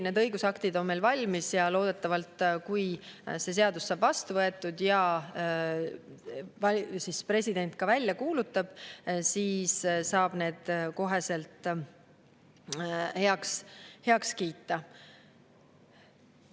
Need õigusaktid on meil küll valmis ja loodetavasti, kui see seadus saab vastu võetud ja president selle välja kuulutab, saab need kohe heaks kiita.